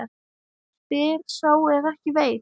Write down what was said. Spyr sá er ekki veit?